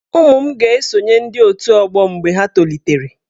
Ụmụ m ga-esonye ndị otù ọgbọ mgbe ha tolitere.